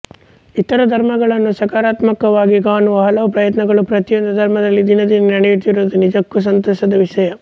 ಇತರ ಧರ್ಮಗಳನ್ನು ಸಕಾರಾತ್ಮಕವಾಗಿ ಕಾಣುವ ಹಲವು ಪ್ರಯತ್ನಗಳು ಪ್ರತಿಯೊಂದು ಧರ್ಮದಲ್ಲಿ ದಿನೇ ದಿನೇ ನಡೆಯುತ್ತಿರುವುದು ನಿಜಕ್ಕೂ ಸಂತಸದ ವಿಷಯ